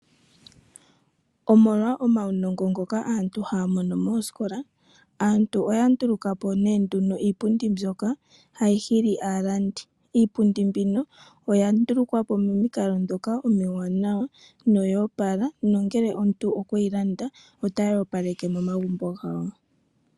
Omolwa omaunongo ngoka aantu haya mono moskola aantu oyandulukapo nee nduno iipundi mbyoka hayi hili aalandi iipundi mbino oyandulukwapo pomikalo dhoka omiwanawa noyo pala nongele omuntu okweyi landa ota yo paleke momagumbo gawo.